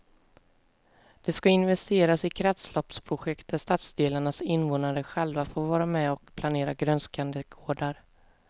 Det ska investeras i kretsloppsprojekt där stadsdelarnas invånare själva får vara med och planera grönskande gårdar.